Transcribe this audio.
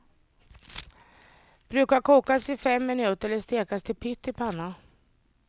Brukar kokas i fem minuter eller stekas till pytt i panna.